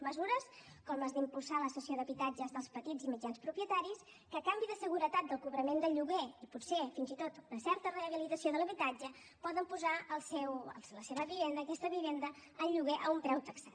mesures com les d’impulsar la cessió d’habitatges dels petits i mitjans propietaris que a canvi de seguretat del cobrament del lloguer i potser fins i tot una certa rehabilitació de l’habitatge poden posar la seva vivenda aquesta vivenda en lloguer a un preu taxat